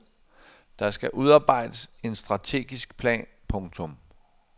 Der skal udarbejdes en strategisk plan. punktum